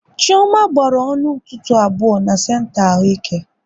Chioma gbaru ọnụ ntụtụ abụọ na senta ahụike